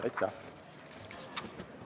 Aitäh!